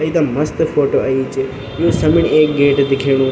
एकदम मस्त फोटो अयीं च यु समणी एक गेट दिखेणु।